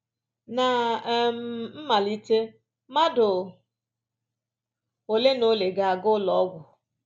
Ná um mmalite mmadụ ole na ole ga-aga ụlọ ọgwụ